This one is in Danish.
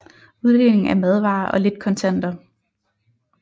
Uddeling af madvarer og lidt kontanter